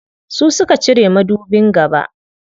Su suka cire madubin gaba.